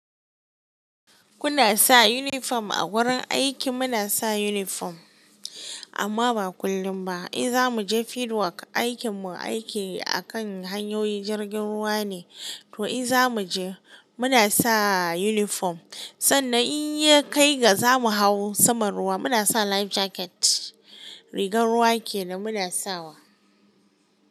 Kuna sa uniform a wurin aiki? Muna sa uniform amma ba kullum ba. In za mu je field work, aikinmu aiki a kan hanyoyin jirgin ruwa ne, to in za mu je, muna sa uniform. Sannan in ya kai ga za mu hau saman ruwa, muna sa life jacket. Rigan ruwa kenan muna sawa.